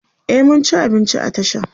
e mun ci abinci a tashan